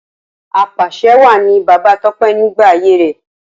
Apàṣẹwàá ni Bàbá Tọ́pẹ́ nígbà ayé rẹ̀.